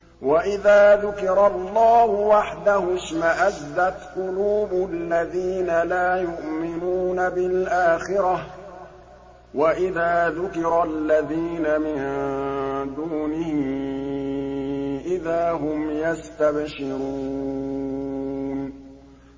وَإِذَا ذُكِرَ اللَّهُ وَحْدَهُ اشْمَأَزَّتْ قُلُوبُ الَّذِينَ لَا يُؤْمِنُونَ بِالْآخِرَةِ ۖ وَإِذَا ذُكِرَ الَّذِينَ مِن دُونِهِ إِذَا هُمْ يَسْتَبْشِرُونَ